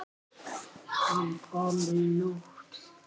Hann kom í nótt.